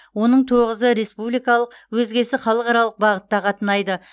оның тоғызы республикалық өзгесі халықаралық бағытта қатынайды